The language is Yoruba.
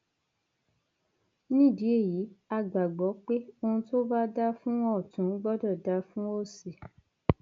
nídìí èyí á gbàgbọ pé ohun tó bá dáa fún ọtún gbọdọ dáa fún òsì